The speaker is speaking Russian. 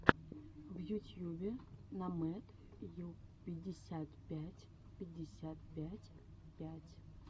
в ютьюбе номэдюпятьдесятпятьпятьдесяпятьпять